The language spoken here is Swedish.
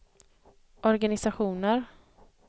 organisationer